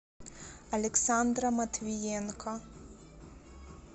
александра матвиенко